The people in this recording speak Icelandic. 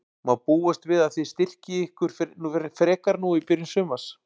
Má búast við að þið styrkið ykkur frekar nú í byrjun sumars?